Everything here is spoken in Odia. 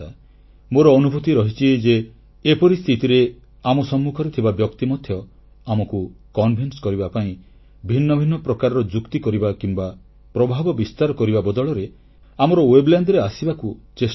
ମୋର ଅନୁଭୂତି ରହିଛି ଯେ ଏପରି ସ୍ଥିତିରେ ଆମ ସମ୍ମୁଖରେ ଥିବା ବ୍ୟକ୍ତି ମଧ୍ୟ ଆମକୁ ବୁଝେଇବା ପାଇଁ ଭିନ୍ନ ଭିନ୍ନ ପ୍ରକାରର ଯୁକ୍ତି କରିବା କିମ୍ବା ପ୍ରଭାବ ବିସ୍ତାର କରିବା ବଦଳରେ ଆମର ମାନସିକ ଅନ୍ତରଙ୍ଗତା ସ୍ଥାପିତ କରିବାକୁ ଚେଷ୍ଟା କରେ